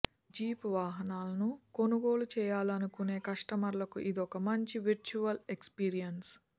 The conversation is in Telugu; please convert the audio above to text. జీప్ వాహనాలను కొనుగోలు చేయాలనుకునే కస్టమర్లకు ఇదొక మంచి విర్చ్యువల్ ఎక్స్పీరియెన్స్